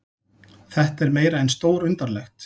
Þetta er meira en stórundarlegt